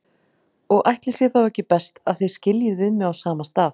Og ætli sé þá ekki best að þið skiljið við mig á sama stað.